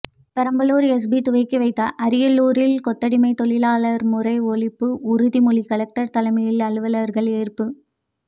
Perambalur SP துவக்கி வைத்தார் அரியலூரில் கொத்தடிமை தொழிலாளர் முறை ஒழிப்பு உறுதிமொழி கலெக்டர் தலைமையில் அலுவலர்கள் ஏற்பு